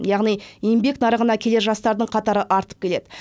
яғни еңбек нарығына келер жастардың қатары артып келеді